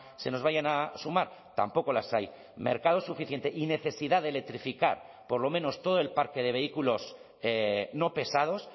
se nos vayan a sumar tampoco las hay mercado suficiente y necesidad de electrificar por lo menos todo el parque de vehículos no pesados